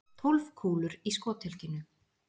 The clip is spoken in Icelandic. Tólf kúlur í skothylkinu.